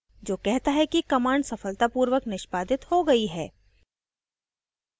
जो कहता है कि command सफलतापूर्वक निष्पादित हो गयी है